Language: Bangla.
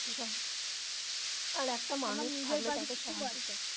আচ্ছা আরেকটা মানুষ থাকলে তো.